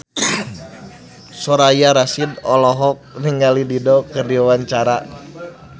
Soraya Rasyid olohok ningali Dido keur diwawancara